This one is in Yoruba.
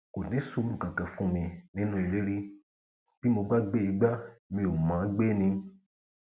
kò ní sùúrù kankan fún mi nínú ilé rí bí mo bá gbé igbá mi ò mọ ọn gbé ni